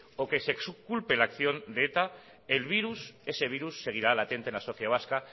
o que se exculpe la acción de eta el virus ese virus seguirá latente en la sociedad vasca